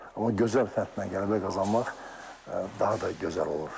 Amma gözəl fəndlə qələbə qazanmaq daha da gözəl olur.